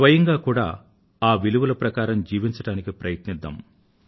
స్వయంగా కూడా ఆ విలువల ప్రకారం జీవించడానికి ప్రయత్నిద్దాం